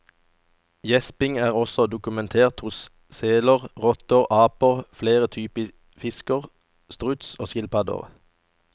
Gjesping er også dokumentert hos seler, rotter, aper, flere typer fisk, struts og skilpadder.